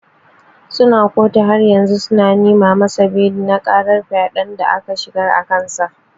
Suna kotu haryanzu suna neman masa beli na karar fyaden da aka shigar akansa.